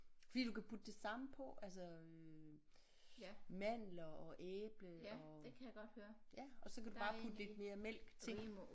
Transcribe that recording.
Fordi du kan putte det samme på altså øh mandler og æble og ja og så kan du bare putte lidt mere mælk til